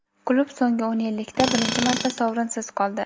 klub so‘nggi o‘n yillikda birinchi marta sovrinsiz qoldi.